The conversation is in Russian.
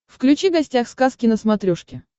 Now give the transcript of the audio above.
включи гостях сказки на смотрешке